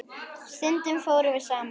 Stundum fórum við saman.